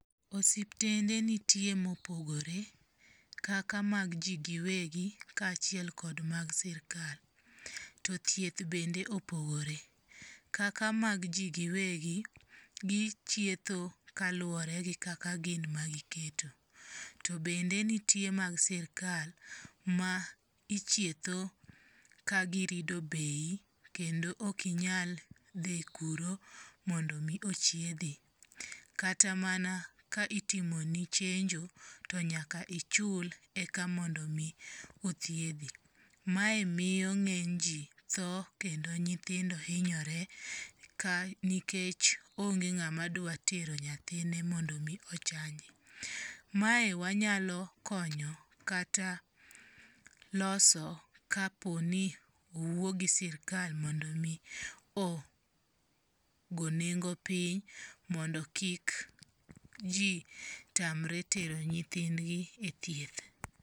Osiptende nitie mopogore kaka mag ji giwegi kaachiel kod mag sirkal. To thieth bende opogore, kaka mag ji giwegi, gichietho kaluwore gi kaka gin ma giketo. To bende nitie mag sirkal ma ichietho ka girido bei kendo okinyal dhi kuro mondo mi ochiedhi. Kata mana ka itimoni chenjo to nyaka ichul eka mondo mi othiedhi. Mae miyo ng'eny ji tho kendo nyithindo hinyore nikech onge ng'ama dwa tero nyithinde mondo mi ochanji. Mae wanyalo konyo kata loso kaponi owuo gi sirkal mondo mi ogo nengo piny mondo kik ji tamre tero nyithindgi e thieth.